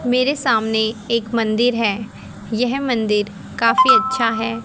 मेरे सामने एक मंदिर है यह मंदिर काफी अच्छा है।